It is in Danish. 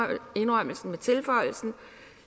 med indrømmelsen om tilføjelsen